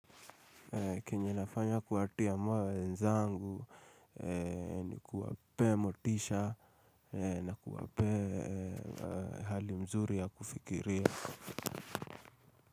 Kenye nafanya kuwatia moyo wenzangu ni kuwapea motisha na kuwapea hali mzuri ya kufikiria.